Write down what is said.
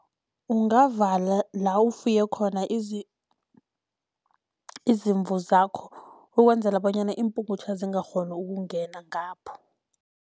Ungavala la ufuye khona izimvu zakho, ukwenzela bonyana iimpungutjha zingakghoni ukungena ngapho.